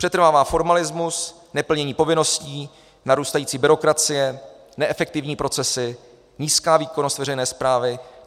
Přetrvává formalismus, neplnění povinností, narůstající byrokracie, neefektivní procesy, nízká výkonnost veřejné správy.